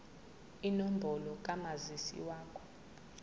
inombolo kamazisi wakho